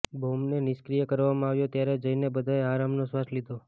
બોમ્બને નિષ્ક્રિય કરવામાં આવ્યો ત્યારે જઇને બધાએ આરામનો શ્વાસ લીધો